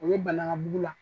O bɛ banankabugu la.